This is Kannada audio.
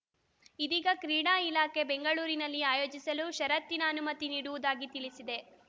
ಇದೀಗ ಕ್ರೀಡಾ ಇಲಾಖೆ ಬೆಂಗಳೂರಿನಲ್ಲಿ ಆಯೋಜಿಸಲು ಷರತ್ತಿನ ಅನುಮತಿ ನೀಡುವುದಾಗಿ ತಿಳಿಸಿದೆ